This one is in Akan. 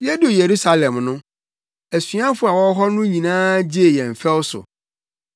Yeduu Yerusalem no, asuafo a wɔwɔ hɔ no nyinaa gyee yɛn ɔfɛw so.